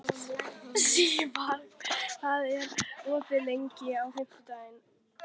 Sívar, hvað er opið lengi á fimmtudaginn?